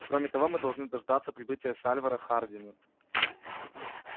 кроме того мы должны дождаться прибытия сальвора хардина